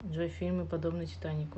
джой фильмы подобные титанику